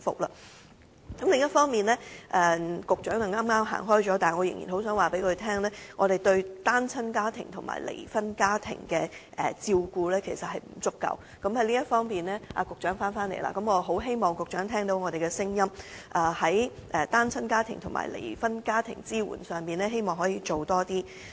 另一方面——局長剛剛離席——我想告訴他，我們對單親家庭和離婚家庭的照顧不足——局長回來了——我希望局長聽到我們的聲音，在單親家庭和離婚家庭的支援方面，政府可以多下工夫。